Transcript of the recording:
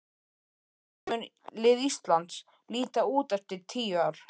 Hvernig mun lið Íslands líta út eftir tíu ár?